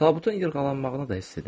Tabutun yırğalanmağını da hiss edirəm.